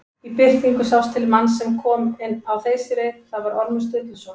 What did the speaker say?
Í birtingu sást til manns sem kom á þeysireið, það var Ormur Sturluson.